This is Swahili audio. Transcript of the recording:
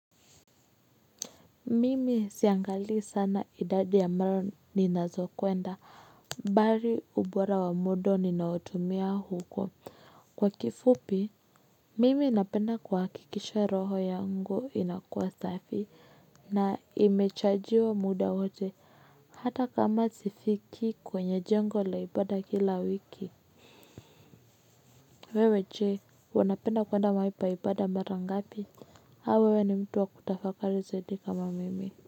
Mimi siangalii sana idadi ya mara ninazo kwenda mbali ubora wa muda ninaotumia huko kwa kifupi. Mimi ninapenda kuhakikisha roho yangu inakuwa safi na imechajiwa muda wote hata kama sifiki kwenye jengo laibada kila wiki. Wewe je unapenda kwenda mahali pa ibada mara ngapi au wewe ni mtu wa kutafakari zaidi kama Mimi Muziki.